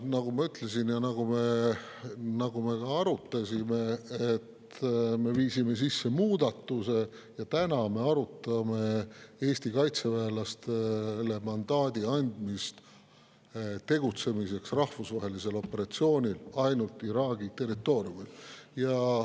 Nagu ma ütlesin ja nagu me ka arutasime, me viisime sisse muudatuse ja täna me arutame Eesti kaitseväelastele mandaadi andmist tegutsemiseks rahvusvahelisel operatsioonil ainult Iraagi territooriumil.